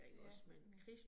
Ja ja